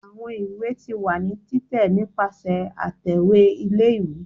awọn ìwé ti wa ni titẹ nipasẹ atẹwe ìlé-ìwé